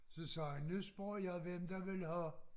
Så sagde jeg nu spørger jeg hvem der vil have